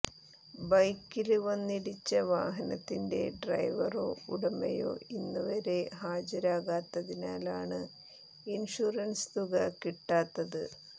ബൈക്കില് വന്നിടിച്ച വാഹനത്തിന്റെ ഡ്രൈവറോ ഉടമയോ ഇന്നുവരെ ഹാജരാകാത്തതിനാലാണ് ഇന്ഷുറന്സ് തുക കിട്ടാത്തത്